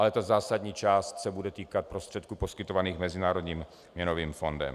Ale ta zásadní část se bude týkat prostředků poskytovaných Mezinárodním měnovým fondem.